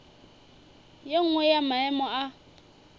ye nngwe ya maemo a